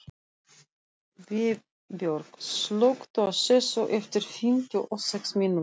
Vébjörg, slökktu á þessu eftir fimmtíu og sex mínútur.